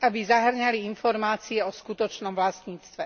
aby zahŕňali informácie o skutočnom vlastníctve.